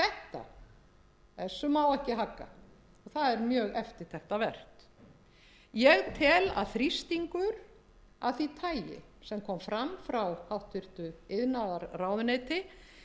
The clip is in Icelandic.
þessu má ekki hagga og það er mjög eftirtektarvert ég tel að þrýstingur af því tagi sem kom fram frá háttvirtri iðnaðarráðuneyti